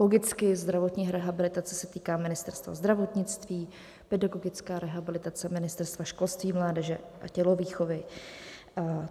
Logicky - zdravotní rehabilitace se týká Ministerstva zdravotnictví, pedagogická rehabilitace Ministerstva školství, mládeže a tělovýchovy.